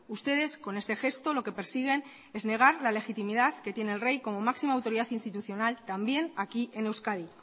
ustedes con este gesto lo que persiguen es negar la legitimidad que tiene el rey como máxima autoridad institucional también aquí en euskadi